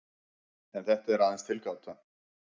En þetta er aðeins tilgáta.